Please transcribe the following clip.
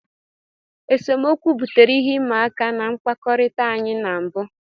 Esemokwu butere ihe ịma aka na mkpakọrịta anyị na mbụ.